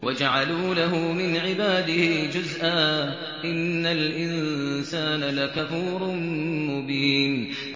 وَجَعَلُوا لَهُ مِنْ عِبَادِهِ جُزْءًا ۚ إِنَّ الْإِنسَانَ لَكَفُورٌ مُّبِينٌ